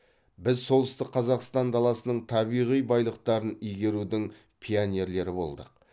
біз солтүстік қазақстан даласының табиғи байлықтарын игерудің пионерлері болдық